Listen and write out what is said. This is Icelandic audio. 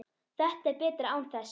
Þetta er betra án þess.